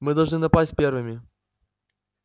мы должны напасть первыми